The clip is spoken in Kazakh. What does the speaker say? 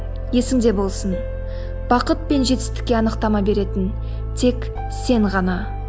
есіңде болсын бақыт пен жетістікке анықтама беретін тек сен ғана